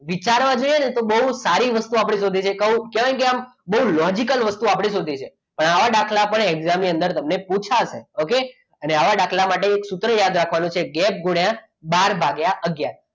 વિચારવા જઈએ ને તો બહુ સારી વસ્તુ આપણે શોધી છે કારણ કે આમ બહુ logically વસ્તુ આપણે શોધી છે પણ આવા દાખલા exam ની અંદર પુછાશે okay અને આવા દાખલા માટે એક સૂત્ર યાદ રાખવાનું છે ગેપ ગુણ્યા બાર ભાગ્ય આગયાર